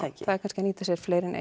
það er kannski að nýta sér fleiri en